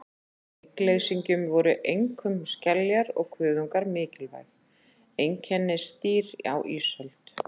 Af hryggleysingjum voru einkum skeljar og kuðungar mikilvæg einkennisdýr á ísöld.